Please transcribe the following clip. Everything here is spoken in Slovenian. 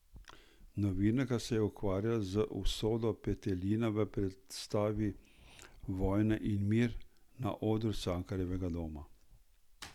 Novinarka se je ukvarjala z usodo petelina v predstavi Vojna in mir na odru Cankarjevega doma.